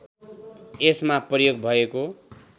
यसमा प्रयोग भएको